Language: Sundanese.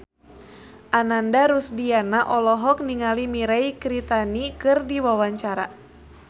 Ananda Rusdiana olohok ningali Mirei Kiritani keur diwawancara